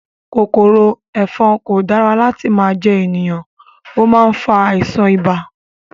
Kòkòrò ẹ̀fọn kò dára láti máa jẹ ènìyàn, ó má ń fa àìsàn ibà